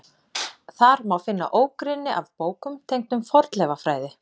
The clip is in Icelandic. Þar má finna ógrynni af bókum tengdum fornleifafræði.